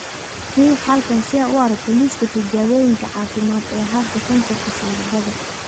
Riix halkan si aad u aragto liiska tijaabooyinka caafimaad ee hadda ee kansarka sanbabada.